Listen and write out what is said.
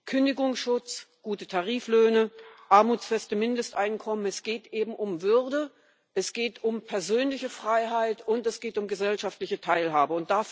Kündigungsschutz, gute Tariflöhne, armutsfeste Mindesteinkommen es geht eben um Würde, es geht um persönliche Freiheit, und es geht um gesellschaftliche Teilhabe.